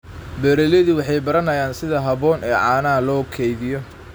Beeraleydu waxay baranayaan sida habboon ee caanaha loo kaydiyo.